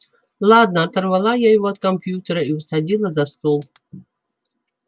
ладно оторвала я его от компьютера и усадила за стол